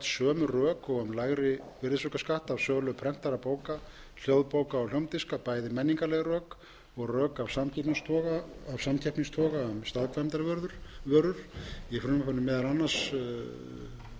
rök og um lægri virðisaukaskatt af sölu prentaðra bóka hljóðbóka og hljómdiska bæði menningarleg rök og rök af sanngirnistoga og samkeppnistoga um staðkvæmdarvörur í frumvarpinu er meðal annars þó það sé ekki